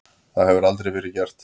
Það hefur aldrei verið gert.